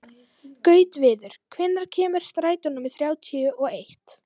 Gautviður, hvenær kemur strætó númer þrjátíu og eitt?